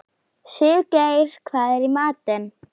Sigurgeir, hvað er í matinn?